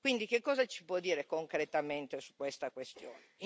Quindi che cosa ci può dire concretamente su questa questione?